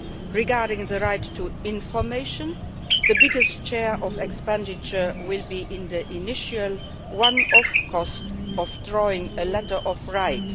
Regarding the right to information, the biggest share of expenditure will be in the initial one off cost of drawing up a letter of rights.